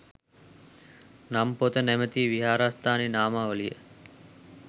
නම් පොත නමැති විහාරස්ථාන නාමාවලිය